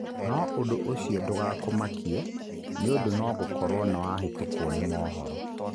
No ũndũ ũcio ndũgakũmakie nĩundu nogũkorwo nĩwahetũkũo nĩ mohoro.